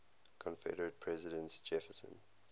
confederate president jefferson